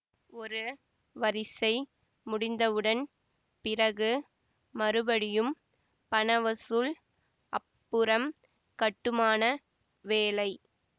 ஒரு வரிசை முடிந்தவுடன் பிறகு மறுபடியும் பணவசூல் அப்புறம் கட்டுமான வேலை